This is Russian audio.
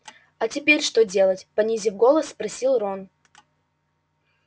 а теперь что делать понизив голос спросил рон